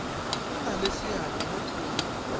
nna le seabe mo thulaganyong